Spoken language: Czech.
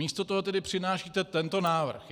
Místo toho tedy přinášíte tento návrh.